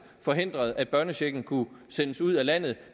forhindrede at børnechecken kunne sendes ud af landet